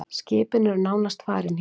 Skipin eru nánast farin héðan.